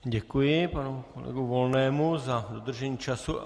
Děkuji panu kolegovi Volnému za dodržení času.